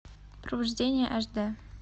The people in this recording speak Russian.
провождение аш д